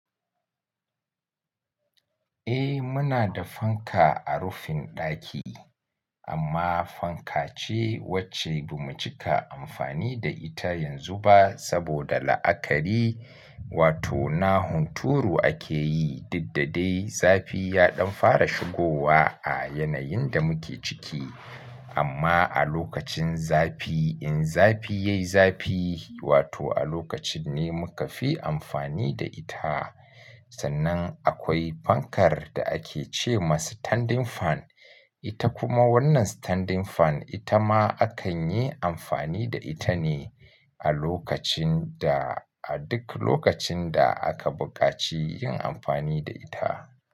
Eh muna da fanka a rufin ɗaki amma fankace wacce bamu cika amfani da ita yanzu ba saboda la'akari. Wato na hunturu akeyi, diddade zafi yaɗan fara shigowa a yanayinda muke ciki. Amma a lokacin zafi in zafi yayi zafi wato a lokacinne mukafi amfani da ita. Sannan akwai fankar da akece masa standing fan. Ita kuma wannan standing fan itama akanyi amfani da itane a lokacinda a duk lokacinda aka buƙaci yin amfani da ita.